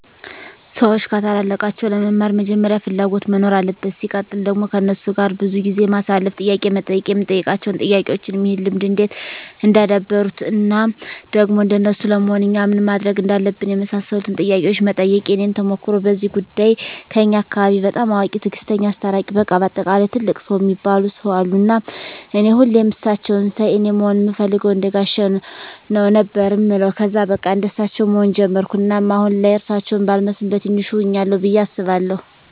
ሰዎች ከታላላቃቸው ለመማር መጀመሪያ ፍላጎት መኖር አለበት ሲቀጥል ደግሞ ከነሱ ጋር ብዙ ጊዜ ማሳለፍ፣ ጥያቄ መጠየቅ የምንጠይቃቸው ጥያቄዎችም ይህን ልምድ እንዴት እንዳደበሩት እና ደግሞ እንደነሱ ለመሆን እኛ ምን ማድረግ እንዳለብን የመሳሰሉትን ጥያቄዎች መጠየቅ። የኔን ተሞክሮ በዚህ ጉዳይ ከኛ አካባቢ በጣም አዋቂ፣ ትግስተኛ፣ አስታራቂ በቃ በአጠቃላይ ትልቅ ሰው እሚባሉ ሰው አሉ እና እኔ ሁሌም እሳቸውን ሳይ አኔ መሆን እምፈልገው እንደጋሼ ነው ነበር እምለው ከዛ በቃ እንደሳቸው መሆን ጀመርኩ እናም አሁን ላይ እርሳቸው ባልመስልም በቲንሹ ሁኛለሁ ብዬ አስባለሁ።